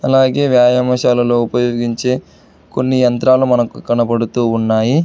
అలాగే వ్యాయామశాలలో ఉపయోగించె కొన్ని యంత్రాలు మనకు కనబడుతూ ఉన్నాయి.